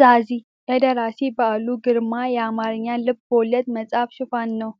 ዛዚ የደራሲ በዓሉ ግርማ የአማርኛ ልብ ወለድ መጽሐፍ ሽፋን ነው።